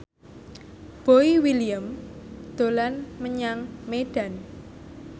Boy William dolan menyang Medan